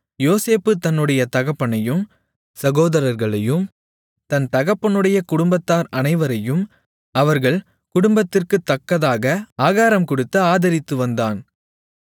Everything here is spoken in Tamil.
யோசேப்பு தன்னுடைய தகப்பனையும் சகோதரர்களையும் தன் தகப்பனுடைய குடும்பத்தார் அனைவரையும் அவரவர்கள் குடும்பத்திற்குத்தக்கதாக ஆகாரம் கொடுத்து ஆதரித்துவந்தான்